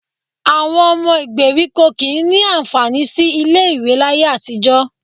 Àwọn ọmọ gbèríkò kì í ní àǹfààní sí ilé-ìwé láyé àtijọ́